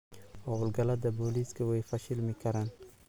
Hawlgallada booliisku way fashilmi karaan.